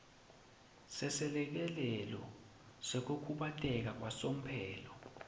seselekelelo sekukhubateka kwasomphelo